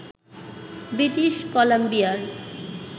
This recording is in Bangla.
ব্রিটিশ কলাম্বিয়ার